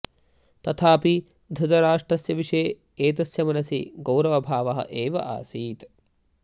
तथापि धृतराष्ट्रस्य विषये एतस्य मनसि गौरवभावः एव आसीत्